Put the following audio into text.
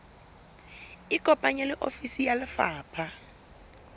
ikopanye le ofisi ya lefapha